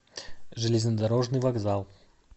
железнодорожный вокзал